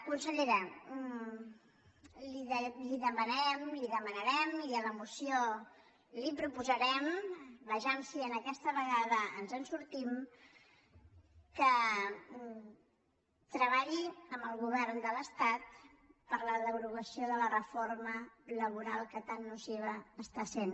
consellera li demanem li demanarem i a la moció li ho proposarem vejam si aquesta vegada ens en sortim que treballi amb el govern de l’estat per la derogació de la reforma laboral que tan nociva està sent